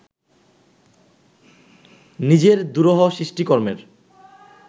নিজের দুরূহ সৃষ্টিকর্মের